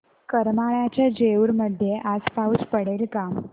करमाळ्याच्या जेऊर मध्ये आज पाऊस पडेल का